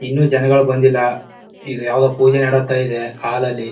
ಇನ್ನು ಜನಗಳ್ ಬಂದಿಲ್ಲ ಇದು ಯಾವ್ದೋ ಪೂಜೆ ನಡತ ಇದೆ ಹಾಲ್ ಅಲ್ಲಿ.